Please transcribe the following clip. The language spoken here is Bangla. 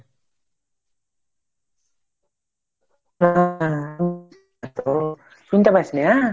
শুনতে পাসনি ?